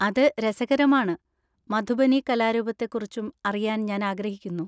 അത് രസകരമാണ്, മധുബനി കലാരൂപത്തെക്കുറിച്ചും അറിയാൻ ഞാൻ ആഗ്രഹിക്കുന്നു.